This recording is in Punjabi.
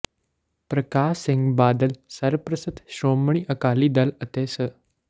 ਪ੍ਰਕਾਸ਼ ਸਿੰਘ ਬਾਦਲ ਸਰਪਰਸਤ ਸ਼੍ਰੋਮਣੀ ਅਕਾਲੀ ਦਲ ਅਤੇ ਸ